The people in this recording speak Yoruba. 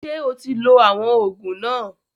Ṣé o ti lo àwọn òògùn náà?